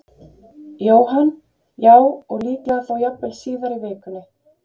Jóhann: Já, og líklega þá jafnvel síðar í vikunni?